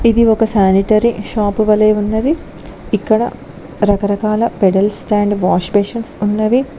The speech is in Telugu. ఇది ఒక సానిటేరి షాప్ వలే ఉన్నది ఇక్కడ రకరకాల పెడల్స్ స్టాండ్ వాష్ బేషన్స్ ఉన్నవి.